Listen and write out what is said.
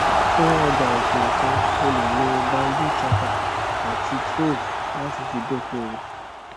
fún ọjà òkè òkun o lè lo bamboo chaka ati trove láti fi dókòwó